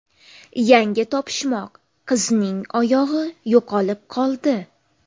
Yangi topishmoq: Qizning oyog‘i yo‘qolib qoldi.